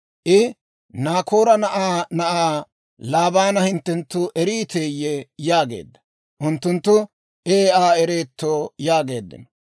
I, «Naakoora na'aa na'aa Laabaana hinttenttu eriiteyye?» yaageedda. Unttunttu, «Ee, Aa ereetto» yaageeddino.